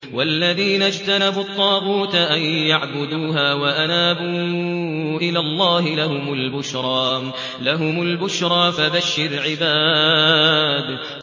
وَالَّذِينَ اجْتَنَبُوا الطَّاغُوتَ أَن يَعْبُدُوهَا وَأَنَابُوا إِلَى اللَّهِ لَهُمُ الْبُشْرَىٰ ۚ فَبَشِّرْ عِبَادِ